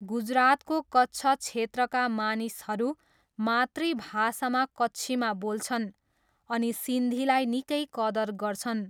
गुजरातको कच्छ क्षेत्रका मानिसहरू मातृभाषामा कच्छीमा बोल्छन्, अनि सिन्धीलाई निकै कदर गर्छन्।